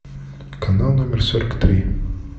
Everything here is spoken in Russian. канал номер сорок три